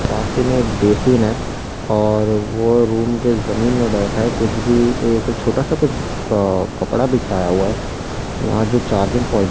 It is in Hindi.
पास ही में एक बेसिन है और वो रूम के जमीन में बैठा है कुछ भी एक छोटा सा कुछ अ कपड़ा बिछाया हुआ है यहां जो चार्जिंग प्वाइंट --